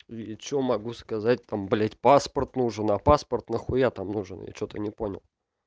и что могу сказать там блядь паспорт нужен а паспорт нахуя там нужен я что-то не понял